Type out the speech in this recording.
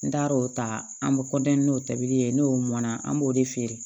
N taar'o ta an bɛ n'o tabili ye n'o mɔnna an b'o de feere